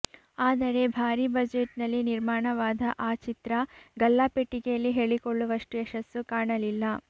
ಆದರೆ ಭಾರಿ ಬಜೆಟ್ನಲ್ಲಿ ನಿರ್ಮಾಣವಾದ ಆ ಚಿತ್ರ ಗಲ್ಲಾಪೆಟ್ಟಿಗೆಯಲ್ಲಿ ಹೇಳಿಕೊಳ್ಳುವಷ್ಟು ಯಶಸ್ಸು ಕಾಣಲಿಲ್ಲ